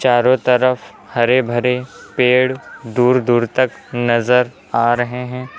चारों तरफ हरे भरे पेड़ दूर दूर तक नजर आ रहे हैं।